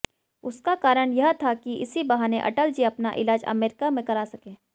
उसका कारण यह था कि इसी बहाने अटल जी अपना इलाज अमेरिका में करा सकें